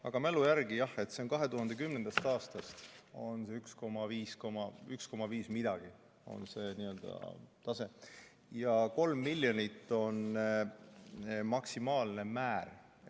Aga mälu järgi, jah, 2010. aastast on see tase umbes 1,5 ja 3 miljonit on maksimaalne määr.